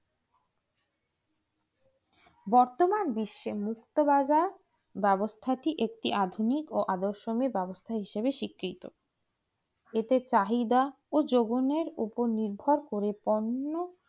বর্তমান বিশ্বের মুক্তবাজার ব্যবস্থা কি একটু আধুনিক আদর্শ ব্যবস্থা হিসাবে স্বীকৃত এতে চাহিদা ও যৌবনের উপর নির্ভর করে অন্য